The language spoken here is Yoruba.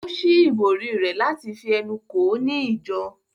Ó ṣí ìbòrí rẹ̀ láti fi ẹnu kò ó ní ìjọ